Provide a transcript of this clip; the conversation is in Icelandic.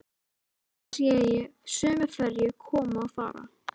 Nú sé ég sömu ferju koma og fara.